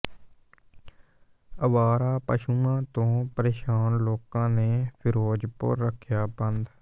ਅਵਾਰਾ ਪਸ਼ੂਆਂ ਤੋਂ ਪਰੇਸ਼ਾਨ ਲੋਕਾਂ ਨੇ ਫ਼ਿਰੋਜ਼ਪੁਰ ਰੱਖਿਆ ਬੰਦ